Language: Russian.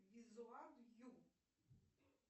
визуаб ю